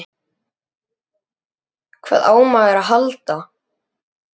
Hvað á maður að halda?